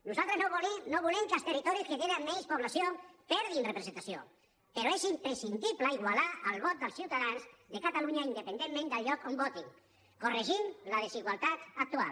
nosaltres no volem que els territoris que tenen menys població perdin representació però és imprescindible igualar el vot dels ciutadans de catalunya independentment del lloc on votin i corregir la desigualtat actual